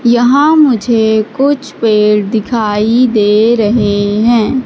यहां मुझे कुछ पेड़ दिखाई दे रहे हैं।